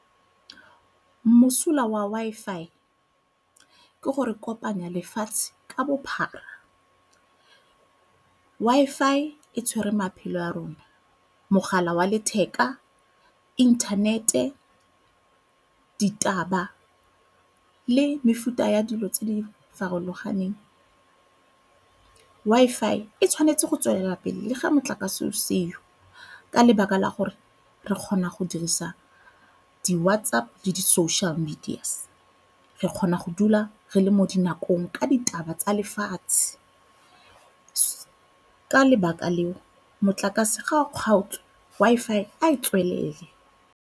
Mosola wa Wi-Fi ke gore kopanya lefatshe ka bophara. Wi-Fi e tshwere maphelo a rona, mogala wa letheka, inthanete, ditaba le mefuta ya dilo tse di farologaneng. Wi-Fi e tshwanetse go tswelela pele le ga motlakase o seo, ka lebaka la gore re kgona go dirisa di WhatsApp le di-social media. Re kgona go dula re le mo dinakong ka ditaba tsa lefatshe ka lebaka leo motlakase ga o kgaotswe Wi-Fi e tswelele.